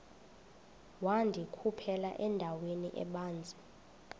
wandikhuphela endaweni ebanzi